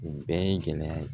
U bɛɛ ye gɛlɛya